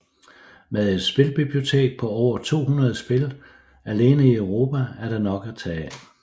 Med et spilbibliotek på over 200 spil alene i Europa er der nok at tage af